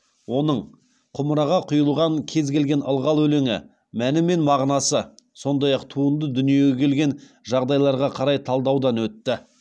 оның құмыраға құйылған кез келген ылғал өлеңі мәні мен мағынасы сондай ақ туынды дүниеге келген жағдайларға қарай талдаудан өтті